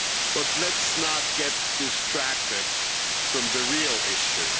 But let's not get distracted from the real issue.